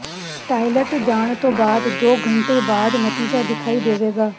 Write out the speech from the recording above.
toilet ਜਾਣ ਤੋਂ ਬਾਅਦ ਦੋ ਘੰਟੇ ਬਾਅਦ ਨਤੀਜਾ ਦਿਖਾਈ ਦੇਵੇਗਾ